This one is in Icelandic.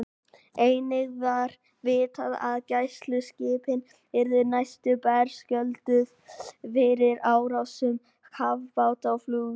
Einnig var vitað, að gæsluskipin yrðu næsta berskjölduð fyrir árásum kafbáta og flugvéla.